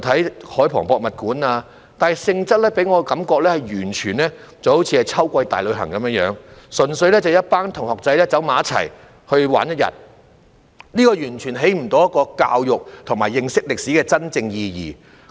便是海防博物館，但其性質給我的感覺是完全好像秋季大旅行般，純粹是一班同學聚在一起玩一天，完全不能起到教育和認識歷史真正意義的作用。